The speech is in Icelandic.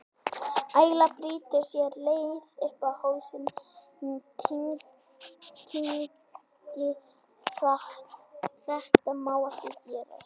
Æla brýtur sér leið upp í hálsinn, ég kyngi hratt, þetta má ekki gerast.